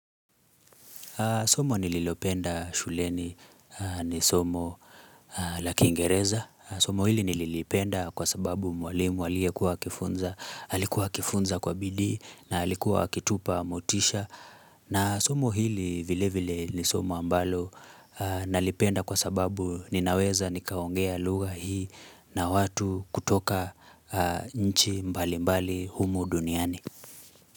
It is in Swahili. Somo nililopenda shuleni ni somo la kingereza. Somo hili nililipenda kwa sababu mwalimu aliyekuwa akifunza alikuwa akifunza kwa bidii na alikuwa akitupa motisha. Na somo hili vile vile ni somo ambalo nalipenda kwa sababu ninaweza nikaongea lugha hii na watu kutoka nchi mbali mbali humu duniani.